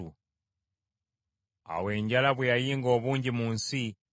Awo enjala bwe yayinga obungi mu nsi,